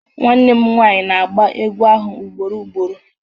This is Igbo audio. Nwanne m nwaanyị na-agba egwú ahụ ugboro ugboro